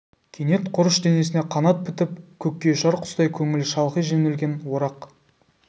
кенет құрыш денесіне қанат бітіп көкке ұшар құстай көңілі шалқи жөнелген орақ